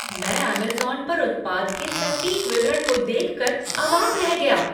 मैं अमेज़न पर उत्पाद के सटीक विवरण को देख कर अवाक रह गया।